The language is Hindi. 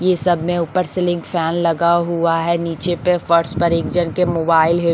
ये सब मे ऊपर से लिंक फैन लगा हुआ है नीचे पे फर्श पर एक जन के मोबाईल है।